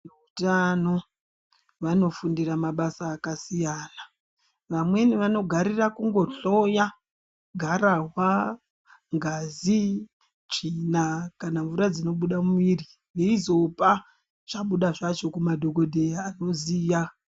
Utano vanofundira mabasa akasiyana amweni vanogarira kungohloya gararwa ngazi tsvina kana mvura dzinobuda mumwiri veizopa zvabuda zvacho kumadhokodheya anoziya.